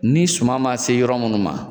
Ni suma ma se yɔrɔ minnu ma.